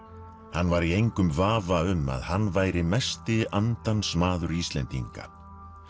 hann var í engum vafa um að hann væri mesti andans maður Íslendinga